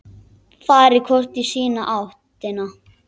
Farið hvort í sína áttina.